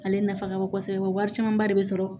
Ale nafa ka bon kosɛbɛ wa camanba de bɛ sɔrɔ